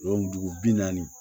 dugu bi naani